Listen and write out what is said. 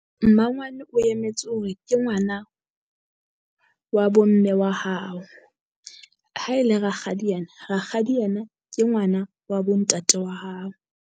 Mmangwane o emetse hore ke ngwana wa bo mme wa hao. Ha e le rakgadi ena, rakgadi ena ke ngwana wa bo ntate wa hao.